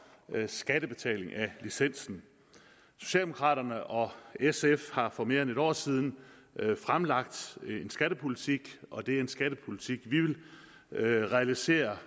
skattebetaling af licensen socialdemokraterne og sf har for mere end et år siden fremlagt en skattepolitik og det er en skattepolitik vi vil realisere